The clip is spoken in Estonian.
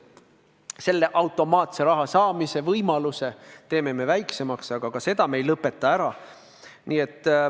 Selle automaatse raha saamise võimaluse me teeme väiksemaks, aga ka seda me ei lõpeta ära.